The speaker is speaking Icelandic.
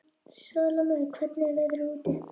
Salóme, hvernig er veðrið úti?